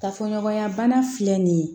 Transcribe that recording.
Kafoɲɔgɔnya bana filɛ nin ye